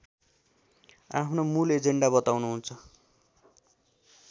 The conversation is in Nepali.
आफ्नो मूल एजेन्डा बताउनुहुन्छ